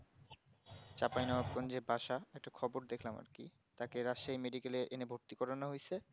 চাপায় নোটেকনজের ভাষা একটি খবর দেখলাম একটি রাশি medical এ এনে ভর্তি করানো হয়েছে